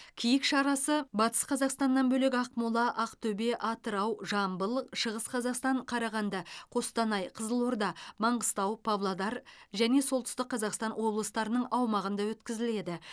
киік шарасы батыс қазақстаннан бөлек ақмола ақтөбе атырау жамбыл шығыс қазақстан қарағанды қостанай қызылорда маңғыстау павлодар және солтүстік қазақстан облыстарының аумағында өткізіледі